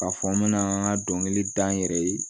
K'a fɔ n mɛna n ka dɔnkili da n yɛrɛ ye